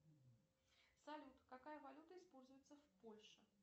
салют какая валюта используется в польше